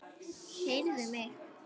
Heyrðu mig.